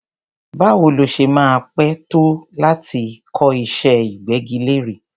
Báwo ló ṣe máa pẹ́ tó láti kọ́ iṣẹ́ ìgbẹ́gilére?